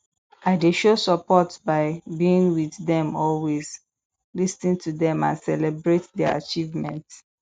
i dey show support by being with dem always lis ten to dem and celebrate their achievement